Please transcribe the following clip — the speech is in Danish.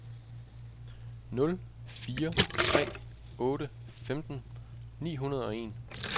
nul fire tre otte femten ni hundrede og en